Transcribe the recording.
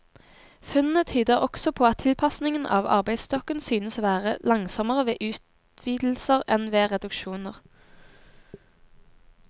Funnene tyder også på at tilpasningen av arbeidsstokken synes å være langsommere ved utvidelser enn ved reduksjoner.